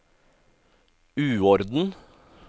uorden